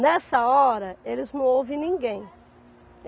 Nessa hora, eles não ouvem ninguém.